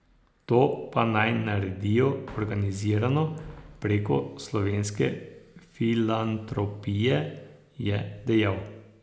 To pa naj naredijo organizirano, preko Slovenske filantropije, je dejal.